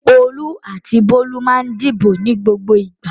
Olú àti Bólú máa ń dìbò ní gbogbo ìgbà.